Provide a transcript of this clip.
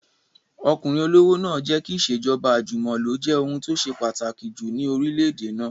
Ọkùnrin olówó náà jẹ́ kí ìṣèjọba àjùmọ̀lo jẹ́ ohun tó ṣe pàtàkì jù ní orílẹ̀-èdè náà